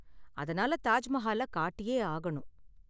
அதனால தாஜ் மஹால காட்டியே ஆகணும்.